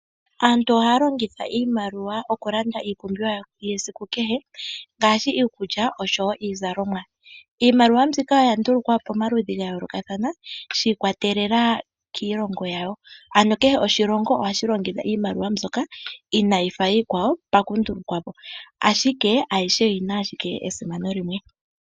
Aantu ohaya longitha iimaliwa okulanda iipumbiwa yawo yesiku kehe ngaashi iikulya oshowo iizalomwa. Iimaliwa mbika oya ndulukwa po pamaludhi ga yoolokathana, shi ikwatelela kiilongo yawo. Kehe oshilongo ohashi longitha iimaliwa mbyoka inaayi fa iikwawo pakundulukwa po, ashike ayihe oyi na ashike esimano limwe.